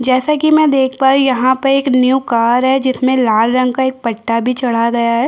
जैसा की मे देख पा रही हूँ यहाँ पर एक न्यू कार है जिसमे लाल रंग का एक पट्टा भी चढ़ा गया है।